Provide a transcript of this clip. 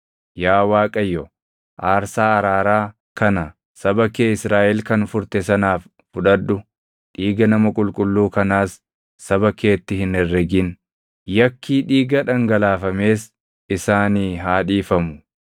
Yaa Waaqayyo, aarsaa araaraa kana saba kee Israaʼel kan furte sanaaf fudhadhu; dhiiga nama qulqulluu kanaas saba keetti hin herregin. Yakkii dhiiga dhangalaafamees isaanii haa dhiifamu.